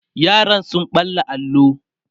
yaran sun ɓalla allo